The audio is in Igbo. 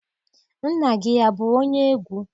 Nna gị abụ onye egwu?